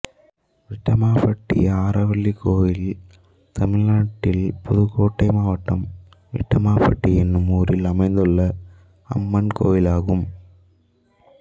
விட்டமாபட்டி ஆரவள்ளி கோயில் தமிழ்நாட்டில் புதுக்கோட்டை மாவட்டம் விட்டமாபட்டி என்னும் ஊரில் அமைந்துள்ள அம்மன் கோயிலாகும்